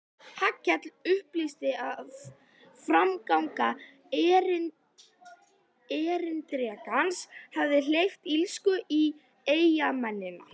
Hallkell upplýsti að framganga erindrekans hefði hleypt illsku í eyjamennina.